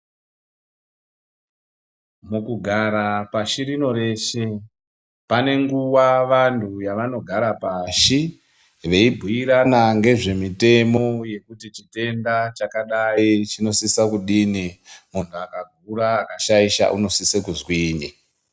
Mukugara pashi rino reshe panenguwa vanhu yavanogara pashi veibhuirana ngezvemitemo yekuti chitenda chakadayi chinosisa kudini, munhu akakura akashaisha unosise kuzwini.